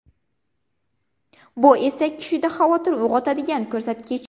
Bu esa kishida xavotir uyg‘otadigan ko‘rsatkich.